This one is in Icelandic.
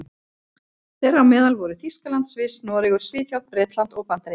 Þeirra á meðal voru Þýskaland, Sviss, Noregur, Svíþjóð, Bretland og Bandaríkin.